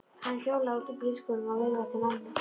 Hann hjólaði út úr bílskúrnum og veifaði til mömmu.